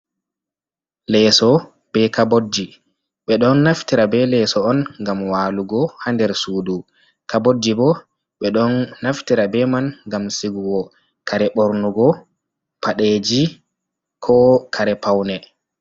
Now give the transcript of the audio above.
Leeso be Kabodji, ɓe ɗon Naftira be Leso'on ngam walugo ha nder Sudu. Kabodji bo ɓe ɗon Naftira be man ngam Sigugo Kare ɓornugo, Padeji ko kare Paune.